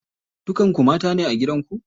Dukan ku mata ne a gidan ku?